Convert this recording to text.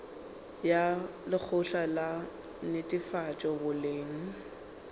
ya lekgotla la netefatšo boleng